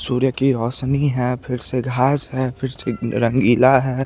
सूर्य की रोशनी है फिर से घास है फिर से रंगीला है।